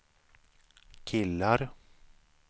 killar